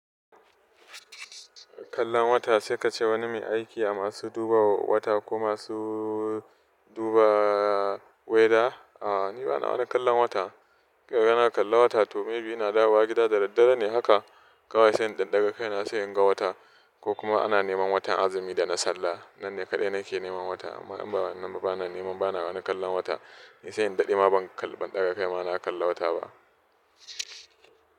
Kallon wata sai ka ce wani mai aiki a masu duba wata ko masu duba weather? A'a, ni ba na wani kallon wata. In kikaga na kalla wata to maybe ina dawowa gida da daddare ne haka kawai sai in ɗan daga kaina na sai inga wata ko kuma ana neman watan azumi da na sallah. Nan ne kaɗai nake neman wata. Amma in ba wannan ba bana neman bana wani kallon wata. Ni sai in daɗe ma ban kal, ban ɗaga kai ma na kalla wata ba.